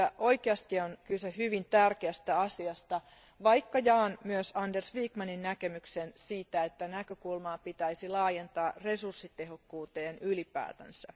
oikeasti siinä on kyse hyvin tärkeästä asiasta, vaikka jaan myös Anders Wijkmanin näkemyksen siitä, että näkökulmaa pitäisi laajentaa resurssitehokkuuteen ylipäätänsä.